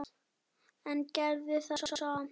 En gerðu það samt.